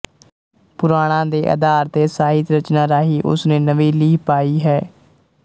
ਪੁਰਾਣਾਂ ਦੇ ਅਧਾਰ ਤੇ ਸਾਹਿਤ ਰਚਨਾ ਰਾਹੀਂ ਉਸਨੇ ਨਵੀਂ ਲੀਹ ਪਾਈ ਹੈ